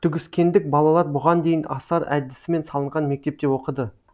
түгіскендік балалар бұған дейін асар әдісімен салынған мектепте оқыды